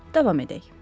Davam edək.